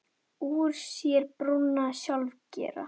Úr sér brúna sjálfir gera.